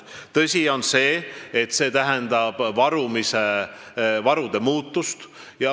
Tõsi on see, et see tähendab varumise, varude muutust.